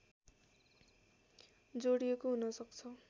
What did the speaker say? जोडिएको हुन सक्छ